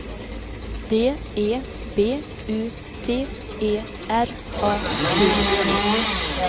D E B U T E R A D E